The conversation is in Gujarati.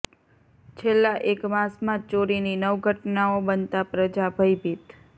છેલ્લા એક માસમાં ચોરીની નવ ઘટનાઓ બનતા પ્રજા ભયભીત